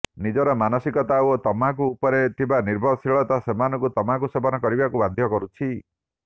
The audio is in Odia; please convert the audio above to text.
ନିଜର ମାନସିକତା ଓ ତମାଖୁ ଉପରେ ଥିବା ନିର୍ଭରଶୀଳତା ସେମାନଙ୍କୁ ତମାଖୁ ସେବନ କରିବାକୁ ବାଧ୍ୟ କରୁଛି